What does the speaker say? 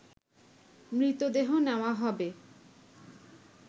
মৃতদেহ নেওয়া হবে